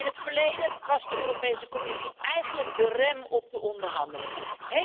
In het verleden was de Europese Commissie eigenlijk de rem op de onderhandelingen.